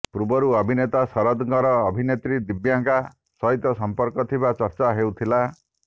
ପୂର୍ବରୁ ଅଭିନେତା ଶରଦଙ୍କର ଅଭିନେତ୍ରୀ ଦିବ୍ୟାଙ୍କା ସହିତ ସମ୍ପର୍କ ଥିବା ଚର୍ଚ୍ଚା ହେଉଥିଲା